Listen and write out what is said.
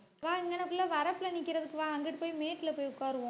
வா இங்கனக்குள்ள வரப்புல நிக்கறதுக்கு வா அங்கிட்டு போய் மேட்டுல போய் உட்காருவோம்